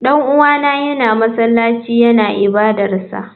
Dan uwana yana masallaci yana ibadarsa.